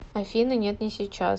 афина нет не сейчас